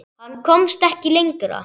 Hann komst ekki lengra.